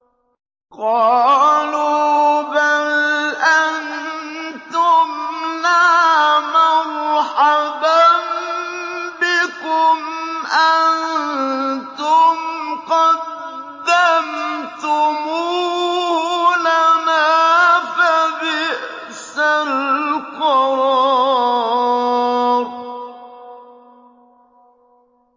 قَالُوا بَلْ أَنتُمْ لَا مَرْحَبًا بِكُمْ ۖ أَنتُمْ قَدَّمْتُمُوهُ لَنَا ۖ فَبِئْسَ الْقَرَارُ